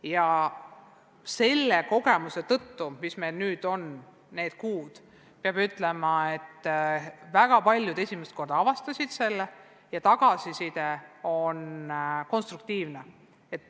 Ja selle kogemuse tõttu, mis me nende kuude vältel saanud oleme, peab ütlema, et väga paljud alles nüüd avastasid selle ja tagasiside on olnud konstruktiivne.